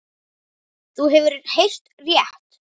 Þú hefur heyrt rétt.